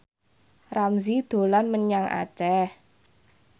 Ramzy dolan menyang Aceh